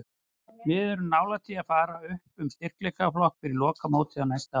Við erum nálægt því að fara upp um styrkleikaflokk fyrir lokamótið á næsta ári.